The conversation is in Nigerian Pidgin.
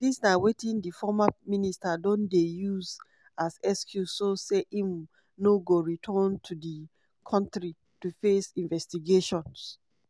dis na wetin di former minister don dey use as excuse so say im no go return to di kontri to face investigations."